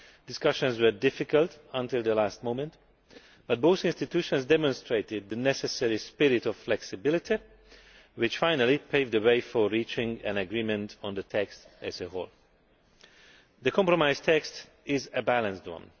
Discussions were difficult until the last moment, but both institutions demonstrated the necessary spirit of flexibility which finally paved the way for reaching an agreement on the text as a whole. The compromise text is a balanced one.